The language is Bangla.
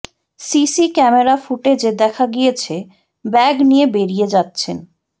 সিসি ক্যামেরা ফুটেজে দেখা গিয়েছে ব্যাগ নিয়ে বেরিয়ে যাচ্ছেন